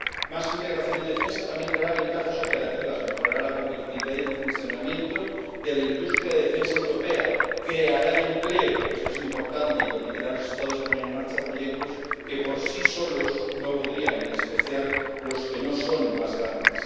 Más integración en defensa también traerá ventajas operativas, mejorará la competitividad y el funcionamiento de la industria de defensa europea, creará empleo —esto es importante— y permitirá a los Estados poner en marcha proyectos que por sí solos no podrían, en especial los que no son los más grandes.